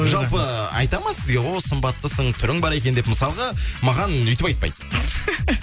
жалпы айта ма сізге о сымбаттысың түрің бар екен деп мысалға маған өйтіп айтпайды